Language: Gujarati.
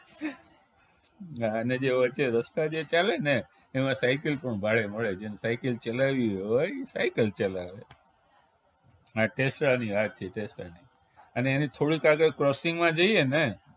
હા અને જે વચ્ચે જે રસ્તો જે ચાલે ને એમાં સાયકલ પણ ભાડે મળે જેને સાયકલ ચલાવી હોય સાયકલ ચલાવે આ ટેસડા ની વાત છે ટેસડાની અને એને થોડુક આગળ crossing માં જઈએને